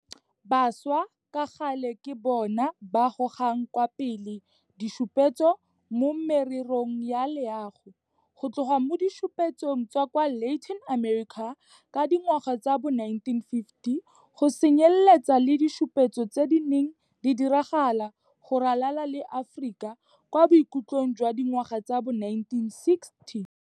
Bašwa ka gale ke bona ba gogang kwa pele ditshupetso mo mererong ya loago, go tloga mo ditshupetsong tsa kwa Latin America ka dingwaga tsa bo 1950, go tsenyeletsa le ditshupetso tse di neng di diragala go ralala le Aforika kwa bokhutlhong jwa dingwaga tsa bo 1960.